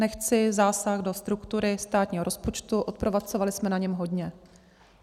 Nechci zásah do struktury státního rozpočtu, odpracovali jsme na něm hodně.